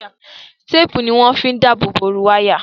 Téèpù ni wọ́n fi ń dáàbò bo ooru wáyà